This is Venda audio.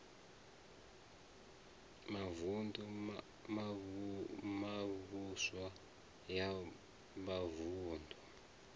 mavun ḓu mivhuso ya mavuṋdu